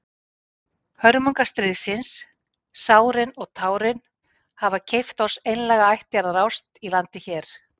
Hörmungar stríðsins, sárin og tárin, hafa keypt oss einlæga ættjarðarást í landi hér.